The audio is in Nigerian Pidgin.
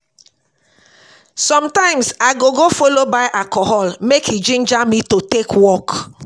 somtimes I go go follow buy alcohol mek e ginger me to take work